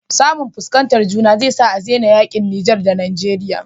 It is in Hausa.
Samu fuskantar juna zai sa adena yaƙi niger da nigeria